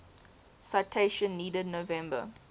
citation needed november